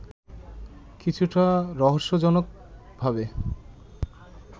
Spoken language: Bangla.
কিছুটা রহস্যজনকভাবে